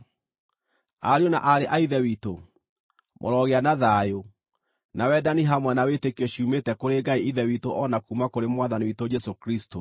Ariũ na aarĩ a Ithe witũ, mũrogĩa na thayũ, na wendani hamwe na wĩtĩkio ciumĩte kũrĩ Ngai Ithe witũ o na kuuma kũrĩ Mwathani witũ Jesũ Kristũ.